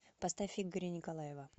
поставь игоря николаева